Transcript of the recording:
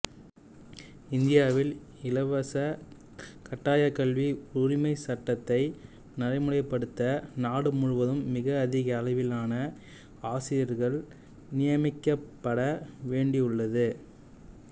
இந்தியாவில் இலவசக் கட்டாயக் கல்வி உரிமைச் சட்டத்தை நடைமுறைப்படுத்த நாடு முழுவதும் மிக அதிக அளவிலான ஆசிரியர்கள் நியமிக்கப்பட வேண்டியுள்ளது